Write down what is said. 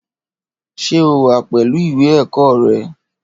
Ṣé o wà pẹ̀lú ìwé ẹ̀kọ́ rẹ?